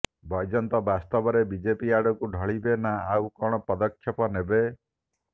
ବୈଜୟନ୍ତ ବାସ୍ତବରେ ବିଜେପି ଆଡକୁ ଢଳିବେ ନା ଆଉ କଣ ପଦକ୍ଷେପ ନେବେ